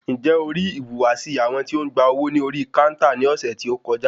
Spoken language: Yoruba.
Ǹjẹ́ o rí ìhùwàsí àwọn tí ń gba owó ní orí káúntà ní ọ̀sẹ̀ tí o kọjá?